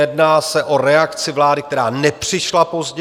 Jedná se o reakci vlády, která nepřišla pozdě.